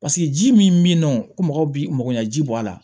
Paseke ji min bɛ yen nɔ ko mɔgɔw bi mɔgɔ ɲɛ ji bɔ a la